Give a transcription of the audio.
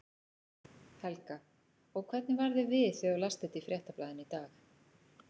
Helga: Og hvernig varð þér við þegar þú last þetta í Fréttablaðinu í dag?